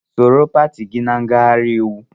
Sonyeere pati gị na ngaghari íwú!